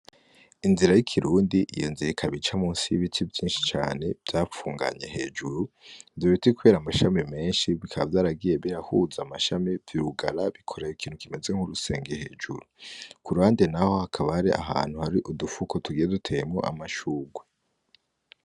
Inzira y'ikirundi iyo nzika bica musi y'ibiti vyinshi cane vyapfunganye hejuru dur bitikubera amashami menshi bikaba vyaragiye birahuza amashami vyurugara bikoraye ikintu kimeze nk'urusenge hejuru ku rande, naho hakabare ahantu hari udupfuko tugiye duteyemo amashugwe.